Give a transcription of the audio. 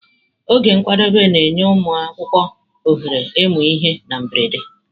Oge nkwadebe na-enye ụmụ akwụkwọ ohere ịmụ ihe na mgbede.